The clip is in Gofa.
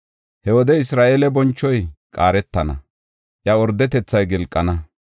“He wode Isra7eele bonchoy qaaretana; iya ordetethay gilqana.